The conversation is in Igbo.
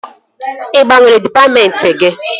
Ị gbanwere dịpatmentị gị?